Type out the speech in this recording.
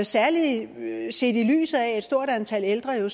særlig set i lyset af at et stort antal ældre jo